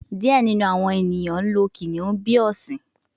Diẹ ninu awọn eniyan lo kiniun bi ọsin